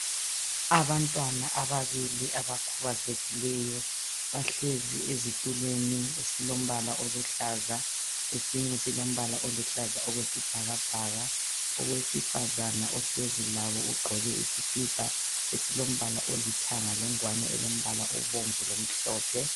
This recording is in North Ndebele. Abantwana ababili abakhubazekileyo bahlezi ezitulweni esilombala oluhlaza esinye silombala oluhlaza okwesibhakabhaka owesifazana ohlezi labo ugqoke isikipa esilombala olithanga lengwane elombala obomvu lomhlophe.